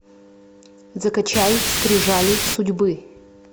закачай скрижали судьбы